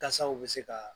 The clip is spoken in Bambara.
Kasaw bɛ se ka